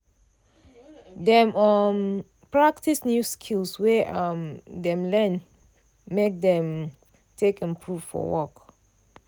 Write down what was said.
dem um practice new skill wey um dem learn make dem take improve for work.